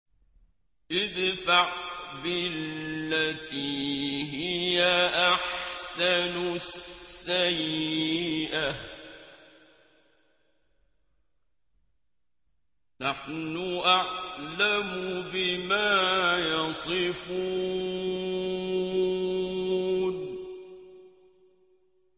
ادْفَعْ بِالَّتِي هِيَ أَحْسَنُ السَّيِّئَةَ ۚ نَحْنُ أَعْلَمُ بِمَا يَصِفُونَ